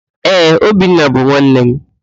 Ee, Obinna bụ nwanne m.